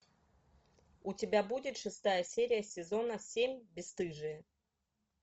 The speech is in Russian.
у тебя будет шестая серия сезона семь бесстыжие